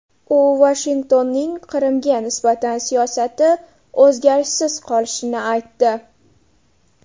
U Vashingtonning Qrimga nisbatan siyosati o‘zgarishsiz qolishini aytdi.